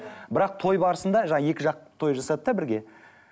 бірақ той барысында жаңа екі жақ той жасады да бірге